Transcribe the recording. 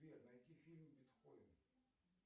сбер найти фильм бетховен